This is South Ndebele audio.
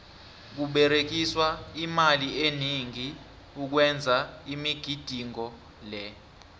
kuberegiswa imali eningi ukwenza imigidingo le